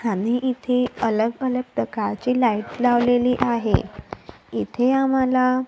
खाली इथे अलग अलग प्रकारचे लाईट लावलेली आहे इथे आम्हाला--